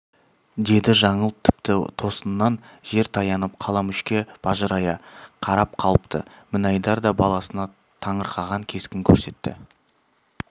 деді жаңыл тіпті тосыннан жер таянып қаламүшке бажырая қарап қалыпты мінайдар да баласына таңырқаған кескін көрсетті